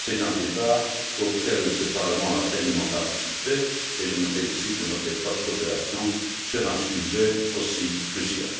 C'est un débat auquel ce Parlement a pleinement participé et je me félicite de notre étroite coopération sur un sujet aussi crucial.